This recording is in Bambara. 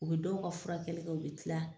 U bɛ dow ka furakɛli kɛ u bɛ kila.